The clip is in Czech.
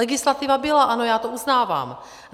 Legislativa byla, ano, já to uznávám.